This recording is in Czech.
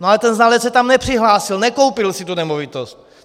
No ale ten znalec se tam nepřihlásil, nekoupil si tu nemovitost.